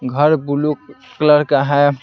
घर blue colour का है।